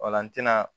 Ola n tɛna